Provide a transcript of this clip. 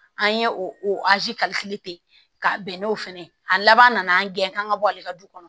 An ye o ka bɛn n'o fɛnɛ a labanna an gɛn ka bɔ ale ka du kɔnɔ